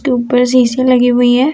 तो ऊपर शीशा लगी हुई है।